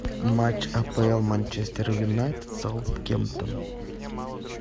матч апл манчестер юнайтед саутгемптон